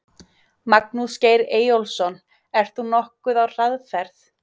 Magnús Geir Eyjólfsson: Ert þú nokkuð á hraðferð?